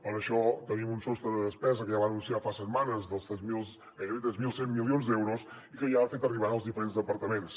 per això tenim un sostre de despesa que ja va anunciar fa setmanes de gairebé tres mil cent milions d’euros i que ja ha fet arribar als diferents departaments